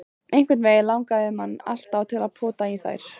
Einhvernveginn langaði mann alltaf til að pota í þær.